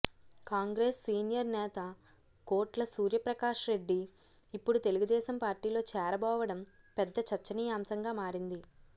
Congress senior నేత కోట్ల సూర్యప్రకాష్రెడ్డి ఇప్పుడు తెలుగుదేశం పార్టీలో చేరబోవడం పెద్ద చర్చనీయంశంగా మారింది